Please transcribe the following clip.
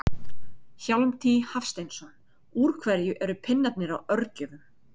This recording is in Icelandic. Hjálmtý Hafsteinsson Úr hverju eru pinnarnir á örgjörvum?